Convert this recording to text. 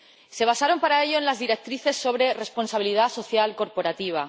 Se basaron para ello en las directrices sobre responsabilidad social corporativa.